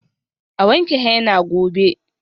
A wanke henna gobe.